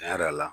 Tiɲɛ yɛrɛ la